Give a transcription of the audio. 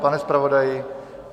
Pane zpravodaji?